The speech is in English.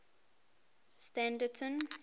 standerton